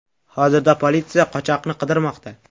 Hozirda politsiya qochoqni qidirmoqda.